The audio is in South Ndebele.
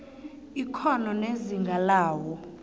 ikghono nezinga lawo